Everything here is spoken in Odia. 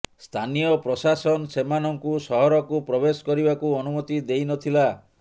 ସ୍ଥାନୀୟ ପ୍ରଶାସନ ସେମାନଙ୍କୁ ସହରକୁ ପ୍ରବେଶ କରିବାକୁ ଅନୁମତି ଦେଇ ନ ଥିଲା